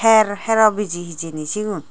her hero biji hijeni sigun.